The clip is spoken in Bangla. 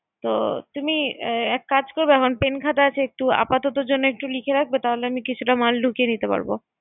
তো তুমি এক কাজ কর আমার pen খাতা আছে একটু আপাতত জন্য একটু লেখে রাখবে তাহলে আমি কিছুটা মাল ঢুকিয়ে রেখে দিবো।